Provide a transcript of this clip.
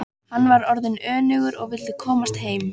Hann var orðinn önugur og vildi komast heim.